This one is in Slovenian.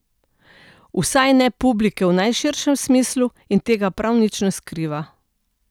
Vsaj ne publike v najširšem smislu in tega prav nič ne skriva.